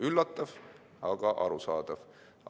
Üllatav, aga arusaadav.